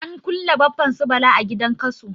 An kulle Baffan su Bala a gidan Kaso.